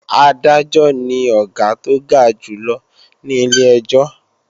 Adájọ́ ni Ọ̀gá tó ga jù lọ ní ilé-ẹjọ́